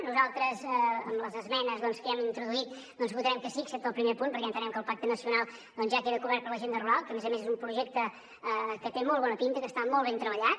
nosaltres amb les esmenes que hi hem introduït hi votarem que sí excepte al primer punt perquè entenem que el pacte nacional ja queda cobert per l’agenda rural que a més a més és un projecte que té molt bona pinta que està molt ben treballat